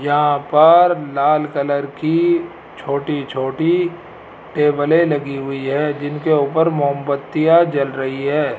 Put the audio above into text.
यहां पर लाल कलर की छोटी छोटी टेबलें लगी हुई है जिनके ऊपर मोमबत्तियां जल रही है।